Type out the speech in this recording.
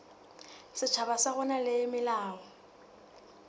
setjhaba sa rona le melao